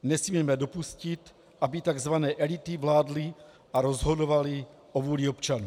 Nesmíme dopustit, aby takzvané elity vládly a rozhodovaly o vůli občanů.